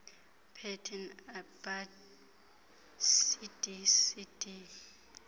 pateni abab cdcd